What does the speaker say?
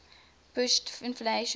pushed inflation higher